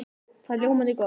Það er ljómandi gott!